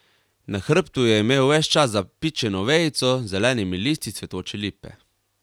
Na hrbtu je imel ves čas zapičeno vejico z zelenimi listi cvetoče lipe.